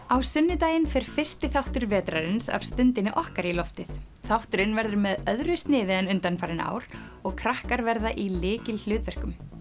á sunnudaginn fer fyrsti þáttur vetrarins af Stundinni okkar í loftið þátturinn verður með öðru sniði en undanfarin ár og krakkar verða í lykilhlutverkum